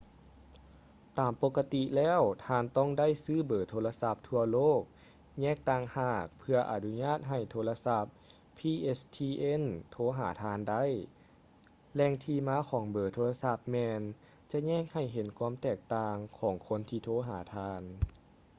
ຕາມປົກກະຕິແລ້ວທ່ານຕ້ອງໄດ້ຊື້ເບີໂທລະສັບທົ່ວໂລກແຍກຕ່າງຫາກເພື່ອອະນຸຍາດໃຫ້ໂທລະສັບ pstn ໂທຫາທ່ານໄດ້ ແຫຼ່ງທີ່ມາຂອງເບີໂທລະສັບແມ່ນຈະແຍກໃຫ້ເຫັນຄວາມແຕກຕ່າງຂອງຄົນທີ່ໂທຫາທ່ານ